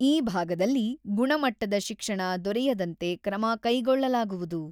ಈ ಭಾಗದಲ್ಲಿ ಗುಣಮುಟ್ಟದ ಶಿಕ್ಷಣ ದೊರೆಯದಂತೆ ಕ್ರಮ ಕೈಗೊಳ್ಳಲಾಗುವುದು.